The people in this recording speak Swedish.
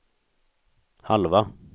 halva